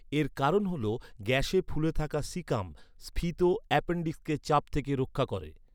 এর কারণ হল গ্যসে ফুলে থাকা সিকাম, স্ফীত অ্যাপেণ্ডিক্সকে চাপ থেকে রক্ষা করে।